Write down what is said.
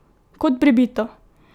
Kot pribito!